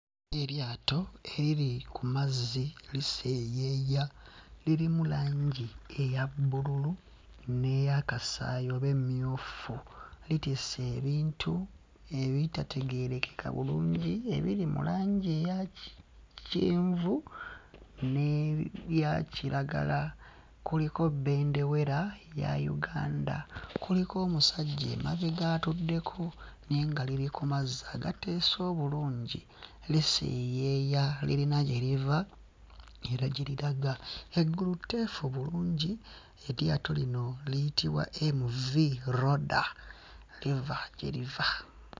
Eryato eriri ku mazzi liseeyeeya lirimu langi eya bbululu n'eya kasaayi oba emmyufu litisse ebintu ebitategeerekeka bulungi ebiri mu langi eyaki kyenvu n'ebya kiragala. Kuliko bbendewera ya Uganda, kuliko omusajja emabega atuddeko naye nga liri ku mazzi agateese obulungi liseeyeeya lirina gye liva era gye liraga. Eggulu tteefu bulungi. Eryato lino liyitibwa MV-Roda liva gye liva.